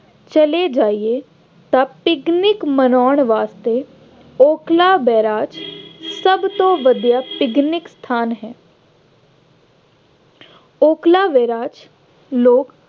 ਚਲੇ ਜਾਈਏ ਤਾਂ ਪਿਕਨਿਕ ਮਨਾਉਣ ਵਾਸਤੇ ਓਕਲਾ ਬੈਰਾਜ ਸਭ ਤੋਂ ਵਧੀਆ ਪਿਕਨਿਕ ਸਥਾਨ ਹੈ। ਓਕਲਾ ਵੈਰਾਜ ਲੋਕ